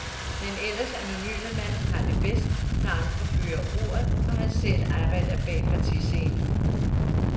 Den ellers anonyme mand har det bedst, når andre fører ordet, og han selv arbejder bag partiscenen.